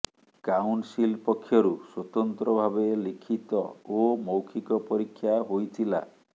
council ପକ୍ଷରୁ ସ୍ବତନ୍ତ୍ର ଭାବେ ଲିଖିତ ଓ ମୌଖିକ ପରୀକ୍ଷା ହୋଇଥିଲା